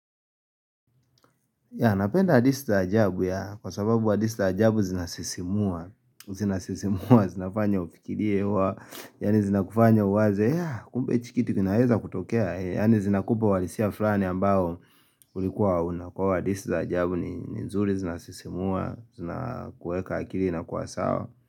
Ya napenda hadisi za ajabu ya kwa sababu hadisi za ajabu zinasisimua. Zinasisimua, zinafanya ufikirie hua. Yani zina kufanya uwaze. Ya kumbe chikiti kinaeza kutokea. Yani zinakupa walisia flani ambao ulikuwa auna. Kwa hadisi za ajabu ni nzuri zinasisimua, zina kueka akili inakua sawa.